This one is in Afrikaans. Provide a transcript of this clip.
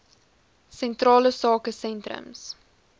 sentrale sake sentrums